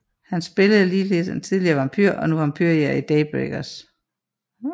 Han spillede ligeledes en tidligere vampyr og nu vampyrjægeren i Daybreakers